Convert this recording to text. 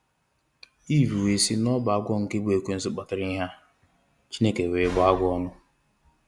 Eve wee si n'ọbụ agwọ nke bu ekwensu kpatara ihe a. Chineke wee bụọ agwọ ọnụ.